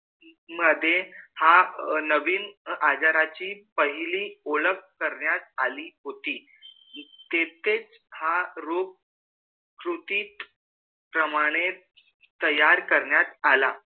मधे हा नवीन आजारची पहिली ओलक करण्यात आली होती तिथेच हा रोग कृति प्रमाणे तैयार करण्यात आला